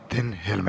Martin Helme, palun!